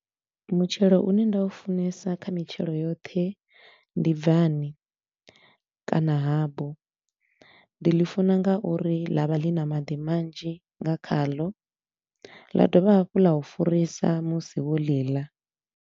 Mutshelo u ne nda u funesa kha mitshelo yoṱhe, ndi bvani kana habu. Ndi ḽi funa nga uri ḽa vha ḽi na maḓi manzhi nga khalo ḽa dovha hafhu ḽa u furisa musi wo ḽi ḽa.